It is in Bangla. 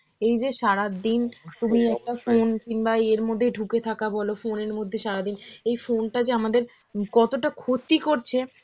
এই যে সারাদিন তুমি একটা phone কিংবা ইয়েএর মধ্যেই ঢুকে থাকা বল, phone এর মধ্যেই সারাদিন, এই phone টা যে আমাদের উম কতটা ক্ষতি করছে,